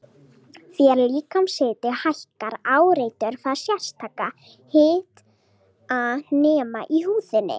Þegar líkamshiti hækkar áreitir það sérstaka hitanema í húðinni.